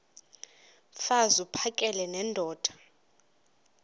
mfaz uphakele nendoda